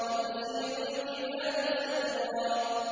وَتَسِيرُ الْجِبَالُ سَيْرًا